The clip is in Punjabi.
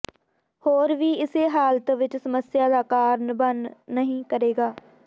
ਹੋਰ ਵੀ ਇਸੇ ਹਾਲਤ ਵਿਚ ਸਮੱਸਿਆ ਦਾ ਕਾਰਨ ਬਣ ਨਹੀ ਕਰੇਗਾ